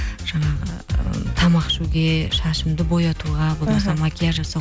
жаңағы ы тамақ ішуге шашымды боятуға болмаса макияж жасау